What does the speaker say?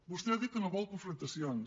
vostè ha dit que no vol confrontacions